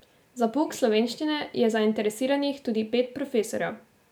Za pouk slovenščine je zainteresiranih tudi pet profesorjev.